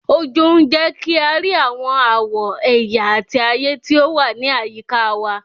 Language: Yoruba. Ojú ń jẹ́ kí a rí àwọn àwọ̀, ẹ̀yà àti ayé tí ó wà ní àyíká wa.